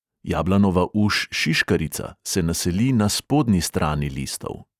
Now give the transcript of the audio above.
Jablanova uš šiškarica se naseli na spodnji strani listov.